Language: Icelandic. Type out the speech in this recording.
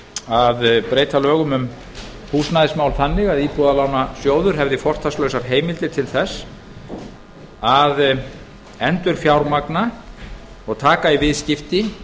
að breyta lögum um húsnæðismál þannig að íbúðalánasjóður hefði fortakslausar heimildir til þess að endurlána og taka í viðskipti